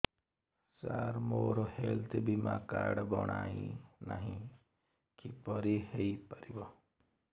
ସାର ମୋର ହେଲ୍ଥ ବୀମା କାର୍ଡ ବଣାଇନାହିଁ କିପରି ହୈ ପାରିବ